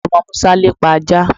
Omo Musa lepa aja